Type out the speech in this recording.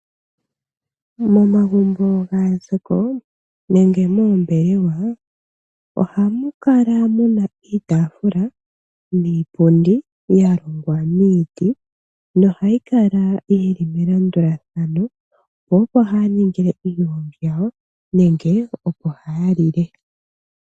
Momagumbo gaazako nenge moombelewa ohamu kala mu na iitaafula niipundi ya longwa miiti nohayi kala yi li melandulathano, po opo haya ningile iigongi yawo nenge opo haya lile.